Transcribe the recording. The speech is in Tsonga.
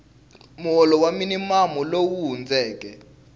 muholo wa minimamu lowu hundzeke